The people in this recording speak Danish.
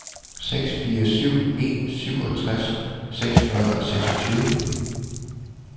seks fire syv en syvogtres seks hundrede og seksogtyve